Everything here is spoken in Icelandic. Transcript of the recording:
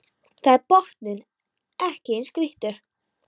Þar er botninn ekki eins grýttur